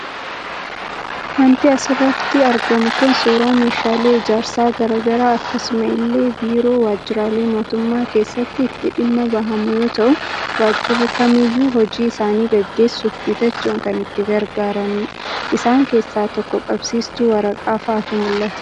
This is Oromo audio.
Waanti asirratti argamu Kun, suuraa meeshaalee ijaarsaa garaagaraa akkasuma illee biiroo waajiraalee mootummaa keessatti itti dhimma bahamu yoo ta'u, waajirri kamiyyu hojii isaanii gaggeessuuf bitachuun kan itti gargaaranidha. Isaan keessa tokko qabsiistu waraqaa fa'aatu mul'ata.